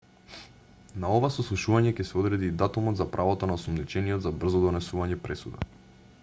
на ова сослушување ќе се одреди и датумот за правото на осомничениот за брзо донесување пресуда